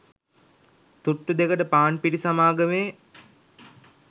තුට්ටු දෙකට පාන්පිටි සමාගමේ